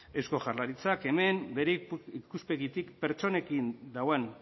eusko jaurlaritzak hemen bere ikuspegitik pertsonekin dagoen